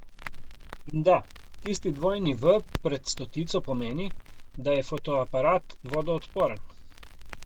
In da, tisti dvojni v pred stotico pomeni, da je fotoaparat vodoodporen.